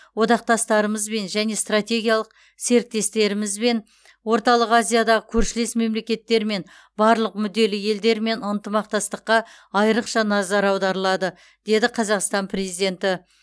одақтастарымызбен және стртегиялық серіктестерімізбен орталық азиядағы көршілес мемлекеттермен барлық мүдделі елдермен ынтымақтастыққа айррықша назар аударылады деді қазақстан президенті